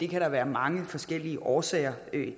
kan være mange forskellige årsager